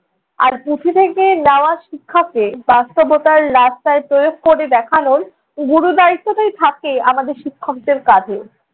আর পুঁথি থেকে নেওয়া শিক্ষাকে বাস্তবতার রাস্তায় প্রয়োগ করে দেখানোর গুরু দায়িত্বটাই থাকে আমাদের শিক্ষকদের কাঁধে।